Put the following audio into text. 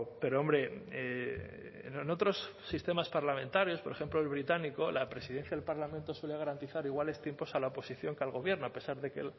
pero hombre en otros sistemas parlamentarios por ejemplo el británico la presidencia del parlamento suele garantizar iguales tiempos a la oposición que al gobierno a pesar de que